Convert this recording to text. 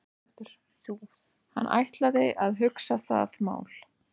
Hann ætlaði að hugsa það mál.